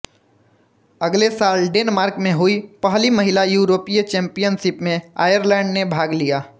अगले साल डेनमार्क में हुई पहली महिला यूरोपीय चैम्पियनशिप में आयरलैंड ने भाग लिया